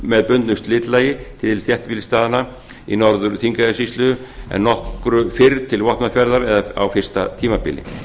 með bundnu slitlagi til þéttbýlisstaðanna í norður þingeyjarsýslu en nokkru fyrr til vopnafjarðar eða á fyrsta tímabili